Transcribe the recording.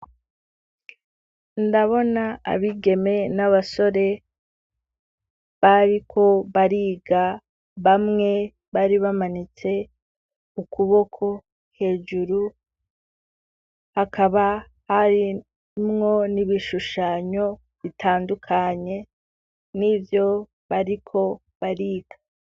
Ndabona abigeme n'abasore, bariko bariga; bamwe bari bamanitse ukuboko hejuru, hakaba harimwo n'ibishushanyo, bitandukanye n'ivyo bariko bariga.